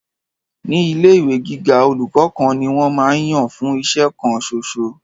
Ni ile ìwé gíga, olùkọ́ kan ni wọn máa ń yàn fún iṣẹ́ kan ṣoṣo.